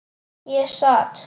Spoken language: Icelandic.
Ég sat.